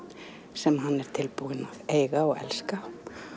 sem hann er tilbúin að eiga og elska